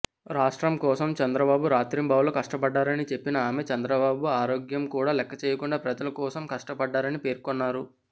రాష్ట్రం కోసం చంద్రబాబు రాత్రింబవళ్లు కష్టపడ్డారని చెప్పిన ఆమె చంద్రబాబు ఆరోగ్యం కూడా లెక్కచేయకుండా ప్రజల కోసం కష్టపడ్డారని పేర్కొన్నారు